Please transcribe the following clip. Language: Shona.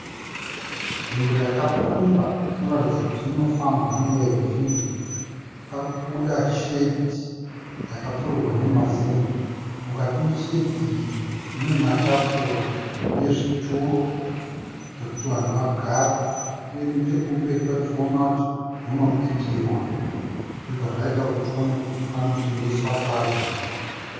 Nzvimbo yakapfumba inoratidza kuti inofambwa neveruzhinji parikubuda shedhi yakapfurirwa nemazenge. Mukati meshedhi iyi mune matafura nezvituro zvekuti vanhu vagare uye nechekumberi tirikuona kuti munobikirwa zvobva zvaita kuti tione kuti panotengeswa sadza.